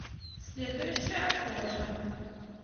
следующая кожа